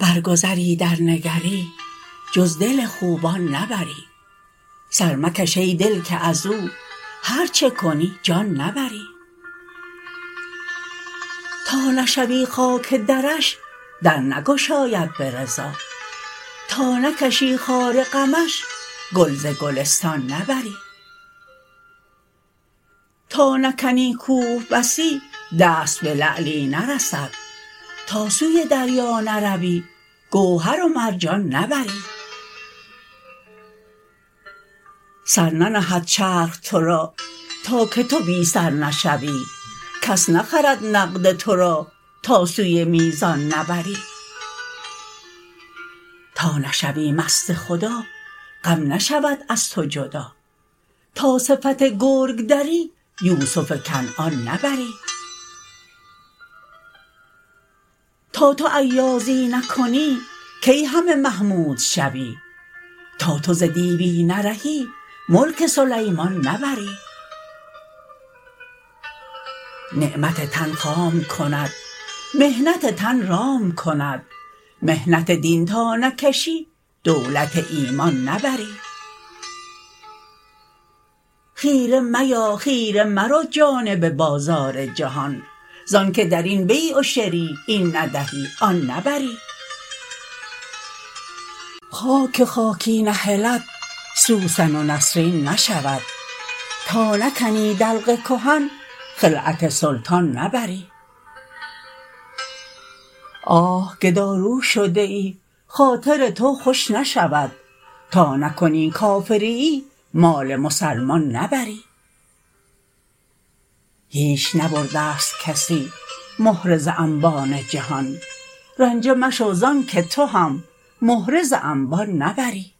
برگذری درنگری جز دل خوبان نبری سر مکش ای دل که از او هر چه کنی جان نبری تا نشوی خاک درش در نگشاید به رضا تا نکشی خار غمش گل ز گلستان نبری تا نکنی کوه بسی دست به لعلی نرسد تا سوی دریا نروی گوهر و مرجان نبری سر ننهد چرخ تو را تا که تو بی سر نشوی کس نخرد نقد تو را تا سوی میزان نبری تا نشوی مست خدا غم نشود از تو جدا تا صفت گرگ دری یوسف کنعان نبری تا تو ایازی نکنی کی همه محمود شوی تا تو ز دیوی نرهی ملک سلیمان نبری نعمت تن خام کند محنت تن رام کند محنت دین تا نکشی دولت ایمان نبری خیره میا خیره مرو جانب بازار جهان ز آنک در این بیع و شری این ندهی آن نبری خاک که خاکی نهلد سوسن و نسرین نشود تا نکنی دلق کهن خلعت سلطان نبری آه گدارو شده ای خاطر تو خوش نشود تا نکنی کافریی مال مسلمان نبری هیچ نبرده ست کسی مهره ز انبان جهان رنجه مشو ز آنک تو هم مهره ز انبان نبری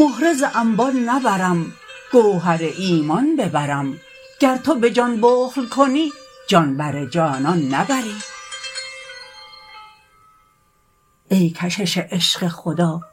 مهره ز انبان نبرم گوهر ایمان ببرم گو تو به جان بخل کنی جان بر جانان نبری ای کشش عشق خدا می ننشیند کرمت دست نداری ز کهان تا دل از ایشان نبری هین بکشان هین بکشان دامن ما را به خوشان ز آنک دلی که تو بری راه پریشان نبری راست کنی وعده خود دست نداری ز کشش تا همه را رقص کنان جانب میدان نبری هیچ مگو ای لب من تا دل من باز شود ز آنک تو تا سنگ دلی لعل بدخشان نبری گرچه که صد شرط کنی بی همه شرطی بدهی ز آنک تو بس بی طمعی زر به حرمدان نبری